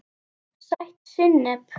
Sætt sinnep